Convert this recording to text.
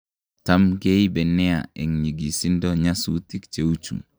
tam keibe nea en nyigisindo nyasutik cheuchu� , kamwa Kambambie